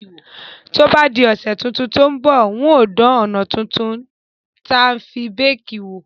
To bá di òsẹ̀ to n bọ̀, n o dan òná tuntun tí a fi n bake wò